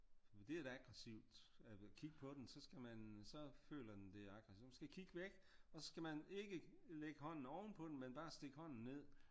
For det er aggressivt at kigge på den så skal man så føler den det er aggressivt så man skal kigge væk og så skal man ikke ligge hånden oven på den men bare stikke hånden ned